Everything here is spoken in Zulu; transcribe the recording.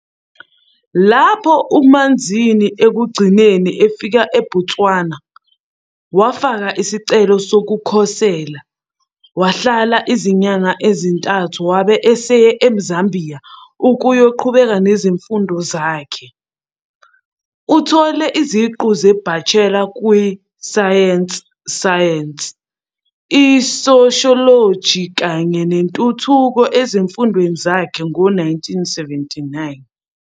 Lapho uManzini ekugcineni efika eBotswana, wafaka isicelo sokukhosela, wahlala izinyanga ezintathu wabe eseya eZambia ukuyoqhubeka nezifundo zakhe. Uthole iziqu ze-bachelor kwi-science science, socialology kanye nentuthuko ezifundweni zakhe ngo-1979.